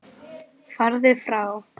Farðu frá!